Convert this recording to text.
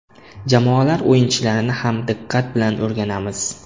Jamoalar o‘yinchilarini ham diqqat bilan o‘rganamiz.